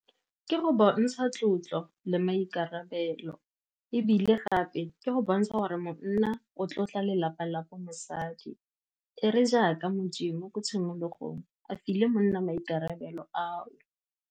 Ke go bontsha tlotlo le maikarabelo, ebile gape ke go bontsha gore monna o tlotla lelapa la ko mosadi. E le jaaka Modimo ko tshimologong a file monna maikarabelo ao.